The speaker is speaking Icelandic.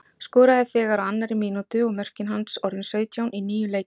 Skoraði þegar á annarri mínútu, og mörkin hans orðin sautján í níu leikjum.